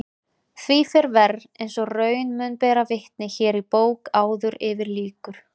Því fer verr eins og raun mun bera vitni hér í bók áður yfir lýkur.